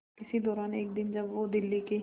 इसी दौरान एक दिन जब वो दिल्ली के